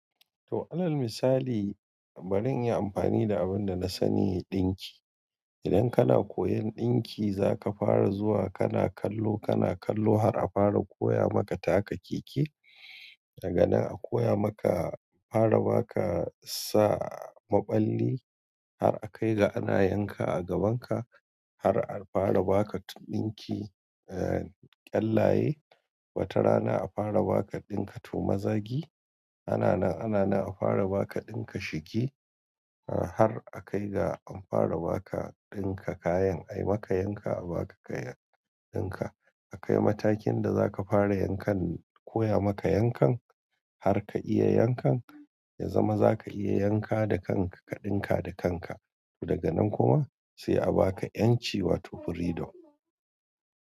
To alal misali, bari in yi amfani da abin da na sani, ɗinki. Idan kana koyon ɗinki, za ka fara zuwa kana kallo, kana kallo har a fara koya maka taka keke. Daga na a koya maka fara baka sa maballi har a kai ga ana yanka a gabanka har a fara baka dinki eh, kyallaye. Wata rana a fara baka ɗinka to mazagi. Ana nan, ana nan a fara baka ɗinka shiki har a kai ga an fara baka ɗinka kayan. Ai maka yanka a baka kayan ɗinka. A kai matakin da za ka fara yankan koya maka yankan har ka iya yankan, ya zama za ka iya yanka da kanka ka ɗinka da kanka. To daga nan kuma sai a baka ƴanci wato freedom.